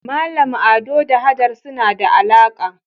Mallam Ado da Hajara suna da alaka